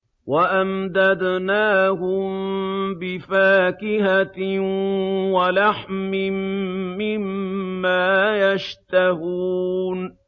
وَأَمْدَدْنَاهُم بِفَاكِهَةٍ وَلَحْمٍ مِّمَّا يَشْتَهُونَ